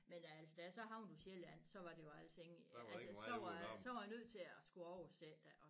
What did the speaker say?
Men altså da jeg så havnede på Sjælland så var der jo altså ingen altså så var så var jeg nødt til at skulle oversætte